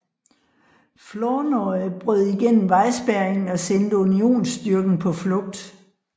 Flournoy brød igennem vejspærringen og sendte Unionsstyrken på flugt